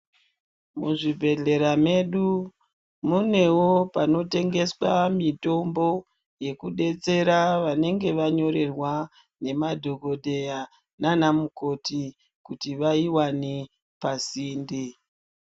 Muzvibhedhlera medu munewo panotengeswa mitombo yekudetsera vanenge vanyorerwa nemadhogodheya naana mukoti kuti vaiwane pasinde.